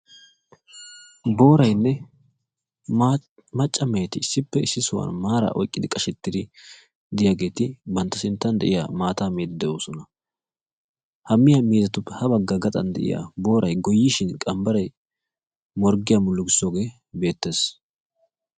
Booraynne macca meheti issippe issi sohuwan maaraa oyqqidi qashettidi diyageeti bantta sinttan de'iya maataa miyddi de'oosona. Ha miya miizzatuppe ha bagga gaxan diya booray goyyishin qambbaray morggiya mullugisoogee beettees.